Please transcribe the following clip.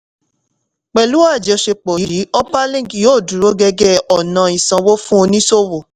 pẹ̀lú àjọṣepọ̀ yìí upperlink yóò dúró gẹ́gẹ́ ọ̀nà ìsanwó fún oníṣòwò.